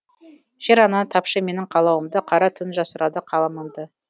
жер ана тапшы менің қалауымды қара түн жасырады қаламымды